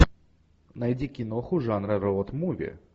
найди киноху жанра роуд муви